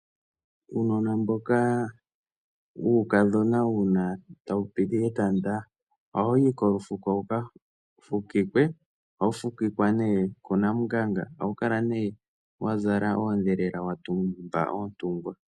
Uunona mboka wuukadhona uuna tawu piti etanda ohawu yi kolufuko wuka fukikwe, ohawu fukikwe ne kunamunganga, ohawu kala ne wazala oodhelela watumba oontungwa.